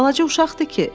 Balaca uşaqdır ki?